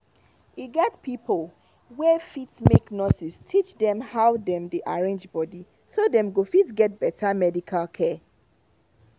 e get pipo wey fit make nurses teach dem how dem dey arrange body so dem go fit get better medical care